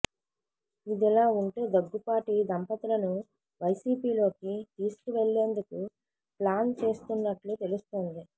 ఇది ఇలా ఉంటే దగ్గుపాటి దంపతులను వైసీపీలోకి తీసుకువెళ్లేందుకు ప్లాన్ చేస్తున్నట్లు తెలుస్తోంది